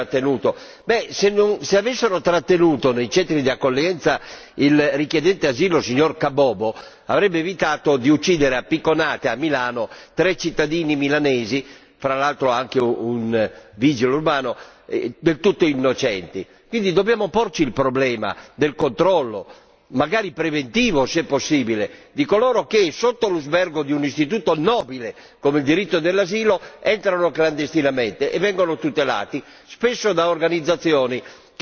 Se avessero trattenuto nei centri di accoglienza il richiedente asilo signor Kabobo, avrebbe evitato di uccidere a picconate a Milano tre cittadini milanesi, fra l'altro anche un vigile urbano del tutto innocenti. Quindi dobbiamo porci il problema del controllo, magari preventivo se possibile, di coloro che sotto l'usbergo di un istituto nobile come il diritto dell'asilo entrano clandestinamente e vengono tutelati spesso da organizzazioni che tutelano